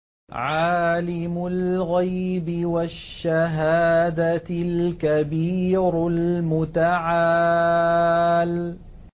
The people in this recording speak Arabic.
عَالِمُ الْغَيْبِ وَالشَّهَادَةِ الْكَبِيرُ الْمُتَعَالِ